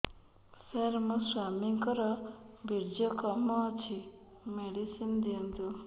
ସାର ମୋର ସ୍ୱାମୀଙ୍କର ବୀର୍ଯ୍ୟ କମ ଅଛି ମେଡିସିନ ଦିଅନ୍ତୁ